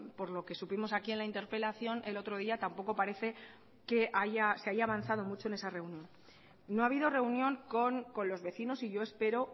por lo que supimos aquí en la interpelación el otro día tampoco parece que se haya avanzado mucho en esa reunión no ha habido reunión con los vecinos y yo espero